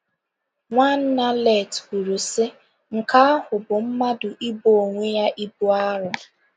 Nwanna Let kwuru, sị: “Nke ahụ bụ mmadụ ibo onwe ya ibu arọ.”